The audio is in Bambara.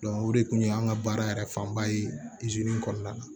o de kun ye an ka baara yɛrɛ fanba ye kɔnɔna na